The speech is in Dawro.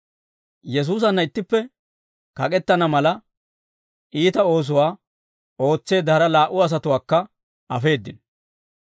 Yesuusanna ittippe kak'k'etana mala, iita oosuwaa ootseedda hara laa"u asatuwaakka afeeddino.